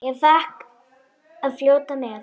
Ég fékk að fljóta með.